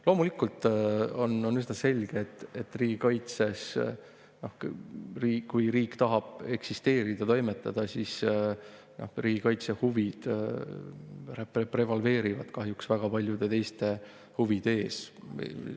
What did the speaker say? Loomulikult on üsna selge, et kui riik tahab eksisteerida ja toimetada, siis riigikaitse huvid prevaleerivad kahjuks väga paljude teiste huvide ees.